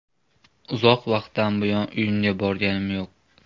Uzoq vaqtdan buyon uyimga borganim yo‘q.